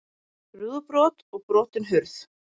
Rúðubrot og brotin hurð